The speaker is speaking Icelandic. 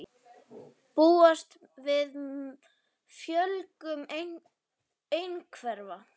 Búast við fjölgun einhverfra